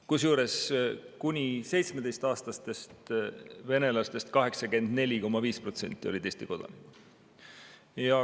Kusjuures kuni 17-aastastest venelastest 84,5% olid Eesti kodanikud.